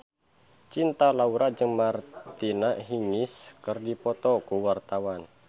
Cinta Laura jeung Martina Hingis keur dipoto ku wartawan